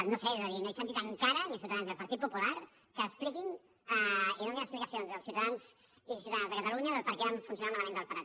no ho sé és a dir no he sentit encara ni a ciutadans ni al partit popular que expliquin i donin explicacions als ciutadans i ciutadanes de catalunya del perquè va funcionar malament el del prat